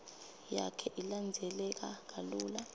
yakhe ilandzeleka kalula